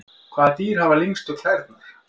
Hvaða dýr hafa lengstu klærnar?